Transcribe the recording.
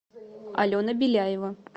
алена беляева